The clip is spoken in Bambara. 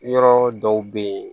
Yɔrɔ dɔw bɛ yen